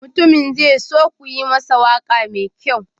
Mutumin zai so ku yi masa waƙa mai kyau.